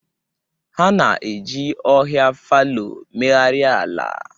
Ha na-eji ohia fallow megharịa ala.